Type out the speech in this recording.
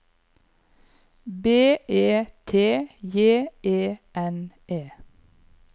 B E T J E N E